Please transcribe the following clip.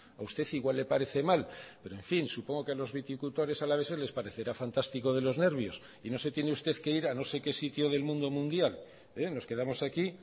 a usted igual le parece mal pero en fin supongo que a los viticultores alaveses les parecerá fantástico de los nervios y no se tiene usted que ir a no sé qué sitio del mundo mundial nos quedamos aquí